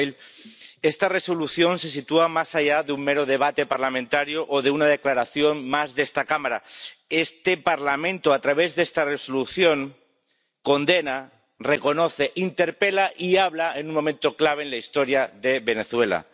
Señora presidenta, señor comisario Borrell, esta Resolución se sitúa más allá de un mero debate parlamentario o de una declaración más de esta Cámara. Este Parlamento, a través de esta Resolución, condena, reconoce, interpela y habla en un momento clave en la historia de Venezuela.